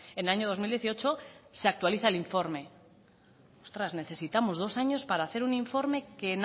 en el año dos mil dieciocho se actualiza el informe ostras necesitamos dos años para hacer un informe que